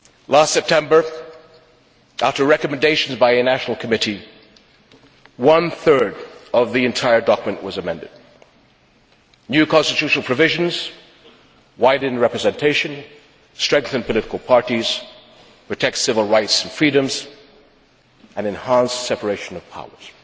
Last September, after recommendations by a national committee, one third of the entire document was amended new constitutional provisions, wider representation, strengthened political parties, protection of civil rights and freedoms, an enhanced separation of powers.